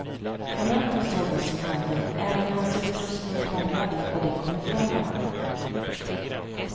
Kamraten såg vad som hände, även hans utrustning krånglade och de kom ifrån varandra.